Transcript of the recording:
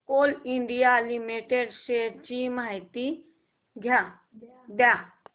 Coal India limited shares ची माहिती द्या